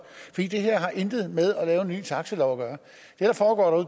det her har intet med at lave en ny taxalov at gøre